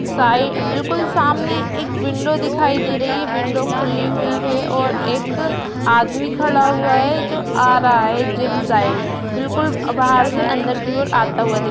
साई बिल्कुल सामने एक विंडो दिखाई दे रही है विंडो खुली हुई है और एक आदमी खड़ा हुआ है जो आ रहा है जिम साइड बिल्कुल बाहर से अंदर की ओर आता हुआ दिख --